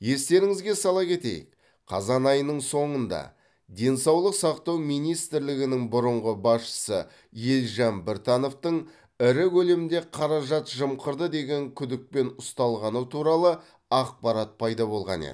естеріңізге сала кетейік қазан айының соңында денсаулық сақтау министрлігінің бұрынғы басшысы елжан біртановтың ірі көлемде қаражат жымқырды деген күдікпен ұсталғаны туралы ақпарат пайда болған еді